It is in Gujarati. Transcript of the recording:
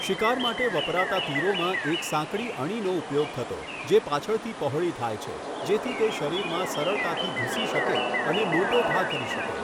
શિકાર માટે વપરાતા તીરોમાં એક સાંકડી અણીનો ઉપયોગ થતો જે પાછળથી પહોળી થાય છે, જેથી તે શરીરમાં સરળતાથી ઘૂસી શકે અને મોટો ઘા કરી શકે.